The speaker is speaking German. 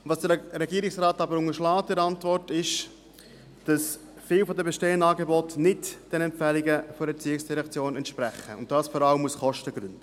Was der Regierungsrat aber in seiner Antwort unterschlägt, ist, dass viele der bestehenden Angebote nicht den Empfehlungen der ERZ entsprechen, und dies vor allem aus Kostengründen.